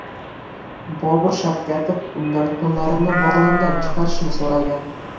Bobur Shavkatov undan qo‘llarini bog‘lamdan chiqarishini so‘ragan.